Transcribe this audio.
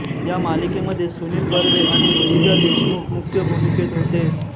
या मालिकेमध्ये सुनील बर्वे आणि ऋजुता देशमुख मुख्य भूमिकेत होते